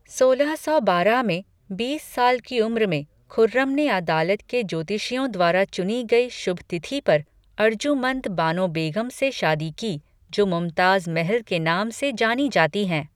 सोलह सौ बारह में, बीस साल की उम्र में, खुर्रम ने अदालत के ज्योतिषियों द्वारा चुनी गई शुभ तिथि पर, अर्जुमंद बानो बेग़म से शादी की जो मुमताज़ महल, के नाम से जानी जाती हैं।